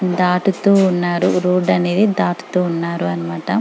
దాటుతూ ఉన్నారు రోడ్ అనేది దాటుతూ ఉన్నారు అన్నమాట.